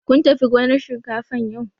Kun tafi gonar shinkafan yau?